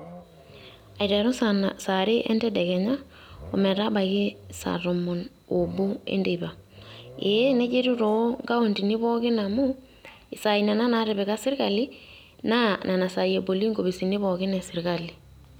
Aiteru sare entedekenya, ometabaiki saa tomon obo enteipa. Ee nejia etiu to nkauntini pookin amu, isaai nena natipika sirkali, naa nena saai eboli inkopisini pookin esirkali.